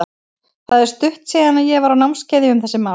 Það er stutt síðan að ég var á námskeiði um þessi mál.